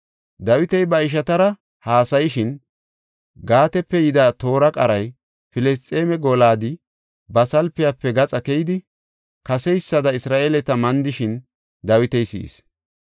Dawiti ba ishatara haasayishin, Gaatepe yida toora qaray, Filisxeeme Gooliyadi ba salpiyafe gaxa keyidi kaseysada Isra7eeleta mandishin Dawiti si7is.